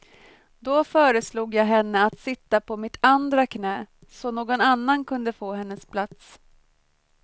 Då föreslog jag henne att sitta på mitt andra knä, så någon annan kunde få hennes plats.